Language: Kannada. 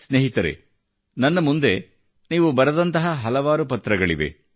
ಸ್ನೇಹಿತರೆ ನನ್ನ ಮುಂದೆ ನೀವು ಬರೆದಂತಹ ಹಲವಾರು ಪತ್ರಗಳಿವೆ